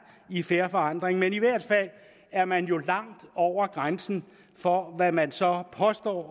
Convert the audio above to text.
i fair forandring men i hvert fald er man jo langt over grænsen for hvad man så påstår